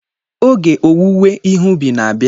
Oge owuwe ihe ubi na-abịa.